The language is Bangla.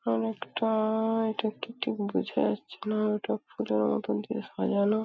অনেকটা-আ-আ এটা কি ঠিক বুঝা যাচ্ছে না ওটা ফুলের মতন দিয়ে সাজানো।